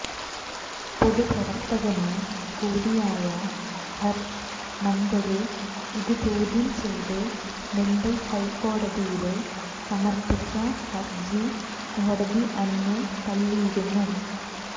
പൊതുപ്രവര്ത്തകന് കൂടിയായ ഹര്ഷ് മന്ദര് ഇതു ചോദ്യം ചെയ്ത് മുംബൈ ഹൈക്കോടതിയില് സമര്പ്പിച്ച ഹര്ജ്ജി കോടതി അന്നു തള്ളിയിരുന്നു